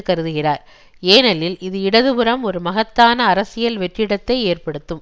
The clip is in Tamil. கருதுகிறார் ஏனெனில் இது இடது புறம் ஒரு மகத்தான அரசியல் வெற்றிடத்தை ஏற்படுத்தும்